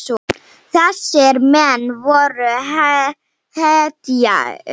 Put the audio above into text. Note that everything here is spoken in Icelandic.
Þessir menn voru hetjur.